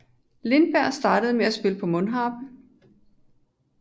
Lindberg startede med at spille på mundharpe